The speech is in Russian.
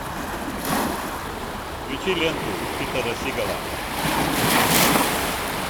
включи ленту питера сигала